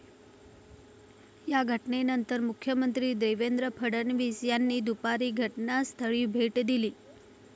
या घटनेनंतर मुख्यमंत्री देवेंद्र फडणवीस यांनी दुपारी घटनास्थळी भेट दिली.